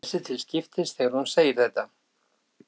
Hún horfir á Svenna og Agnesi til skiptis þegar hún segir þetta.